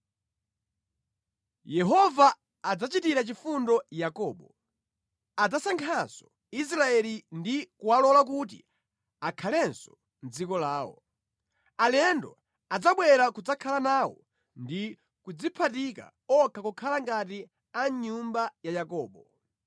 Yehova adzachitira chifundo Yakobo; adzasankhanso Israeli ndi kuwalola kuti akhalenso mʼdziko lawo. Alendo adzabwera kudzakhala nawo ndi kudziphatika okha kukhala ngati a mʼnyumba ya Yakobo.